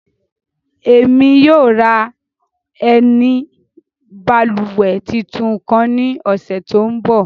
Ẹmi yóò ra ẹni bálúwẹ̀ títún kan ni ọsẹ̣ tó ń bọ̀.